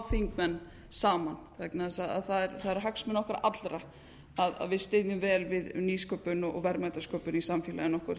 þingmenn saman vegna þess að það eru hagsmunir okkar allra að við styðjum vel við nýsköpun og verðmætasköpun í samfélaginu okkar